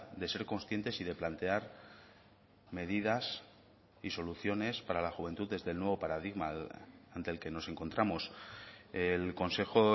de ser conscientes y de plantear medidas y soluciones para la juventud desde el nuevo paradigma ante el que nos encontramos el consejo